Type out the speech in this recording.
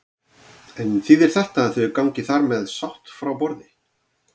En þýðir þetta að þau gangi þar með sátt frá borði?